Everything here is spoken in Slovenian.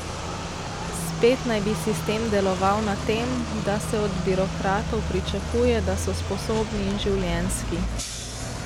Spet naj bi sistem deloval na tem, da se od birokratov pričakuje, da so sposobni in življenjski.